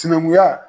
Sinankunya